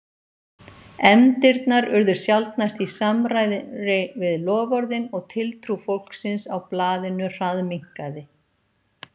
Efndirnar urðu sjaldnast í samræmi við loforðin og tiltrú fólksins á blaðinu hraðminnkaði.